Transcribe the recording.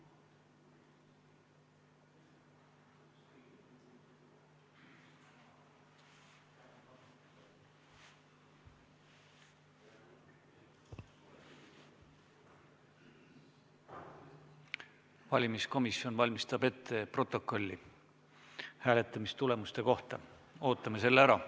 Valimiskomisjon valmistab ette protokolli hääletamistulemuste kohta, ootame selle ära.